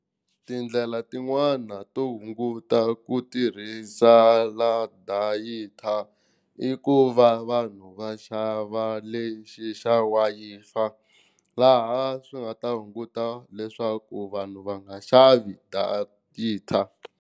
Tindlela tin'wani to hunguta ku tirhisa la i ku va vanhu va xava lexi xa laha swi nga ta hunguta leswaku vanhu va nga xavi .